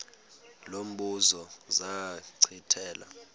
lo mbuzo zachithela